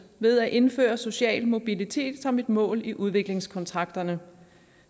ved at indføre social mobilitet som et mål i udviklingskontrakterne